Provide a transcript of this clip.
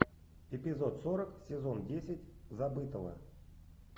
эпизод сорок сезон десять забытого